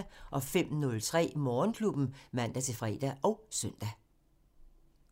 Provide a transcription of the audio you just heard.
05:03: Morgenklubben (man-fre og søn)